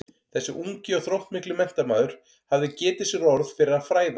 Þessi ungi og þróttmikli menntamaður hafði getið sér orð fyrir að fræða